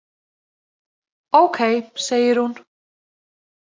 Ókei, segir hún.